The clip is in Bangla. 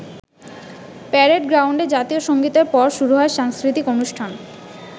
প্যারেড গ্রাউন্ডে জাতীয় সঙ্গীতের পর শুরু হয় সাংস্কৃতিক অনুষ্ঠান।